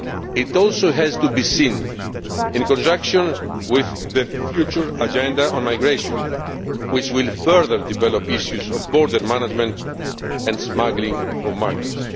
It also has to be seen in conjunction with the future Agenda on Migration which will further develop issues of border management and smuggling of migrants.